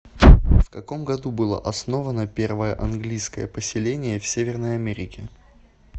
в каком году было основано первое английское поселение в северной америке